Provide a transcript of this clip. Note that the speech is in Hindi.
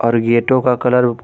हर गेटों का कलर --